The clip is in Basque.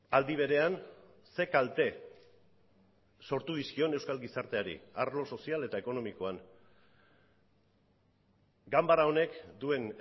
aldi berean ze kalte sortu dizkion euskal gizarteari arlo sozial eta ekonomikoan ganbara honek duen